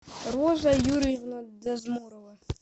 роза юрьевна дезмурова